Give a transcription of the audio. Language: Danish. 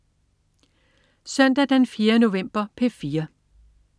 Søndag den 4. november - P4: